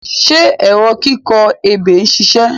Ṣé ẹ̀rọ kíkọ ebè ń ṣiṣẹ̀?